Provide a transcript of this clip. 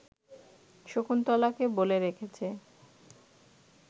শকুন্তলাকে বলে রেখেছে